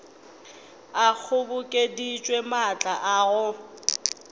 a kgobokeditše maatla a go